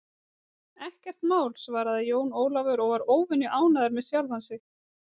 Ekkert mál, svaraði Jón Ólafur og var óvenju ánægður með sjálfan sig.